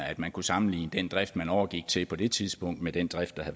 at man kan sammenligne den drift man overgik til på det tidspunkt med den drift der